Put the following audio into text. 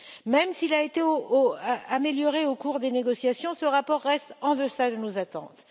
Même s'il a été amélioré au cours des négociations, ce rapport reste en deçà de nos attentes.